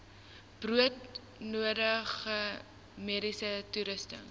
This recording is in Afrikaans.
broodnodige mediese toerusting